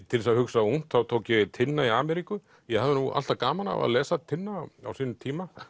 til þess að hugsa ungt tók ég Tinna í Ameríku ég hafði nú alltaf gaman af að lesa Tinna á sínum tíma